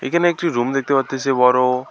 এখানে একটি রুম দেখতে পারতাসি বড়।